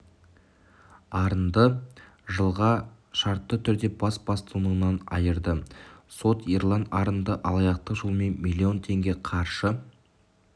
арынды жылға шартты түрде бас бостандығынан айырды сот ерлан арынды алаяқтық жолмен миллион теңге қаржы